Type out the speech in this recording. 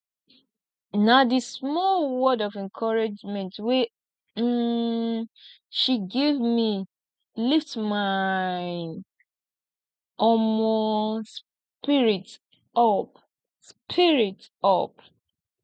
na di small word of encouragement wey um she give me lift my um spirit up spirit up